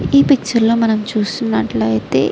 ఈ పిక్చర్ లో మనం చూస్తునట్టు అయతె --